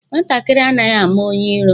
Nwatakịrị anaghi ama onye ịro